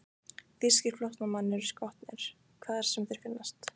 Þýskir flóttamenn eru skotnir, hvar sem þeir finnast.